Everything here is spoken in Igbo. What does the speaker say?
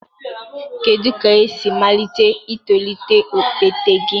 Kedu ka esi malite itolite okpete gị?